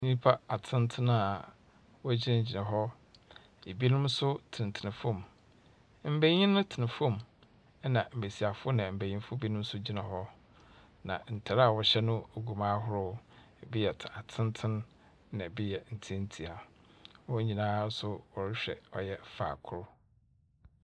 Nnypa atsentsen a wogyinagyina hɔ. Ebinom nso tenatena fam. Mbenyin tena fam, na mbesiafo na mbenyinfo bi nso gyina hɔ. Na ntar a wɔhyɛ no so gu mu ahorow. Bi yɛ tsentsen na bi yɛ tsietsia. Hɔn nyinaa nso wrehwɛ faako.